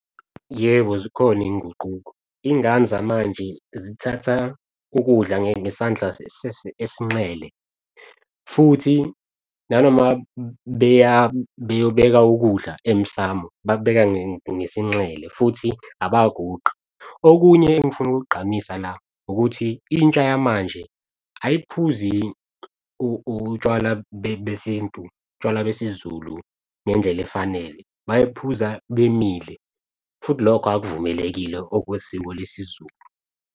Yebo, zikhona iy'nguquko, iy'ngane zamanje zithatha ukudla ngesandla es'nxele futhi nanoma beya beyobeka ukudla emsamo bakubeka ngesinxele futhi abaguqi. Okunye engifuna ukuk'gqamisa la ukuthi intsha yamanje ayib'phuzi utshwala besintu, utshwala besiZulu ngendlela efanele bayiphuza bemile futhi lokho akuvumelekile okwesiko lesiZulu.